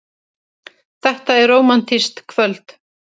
Þetta er rómantískt kvöld.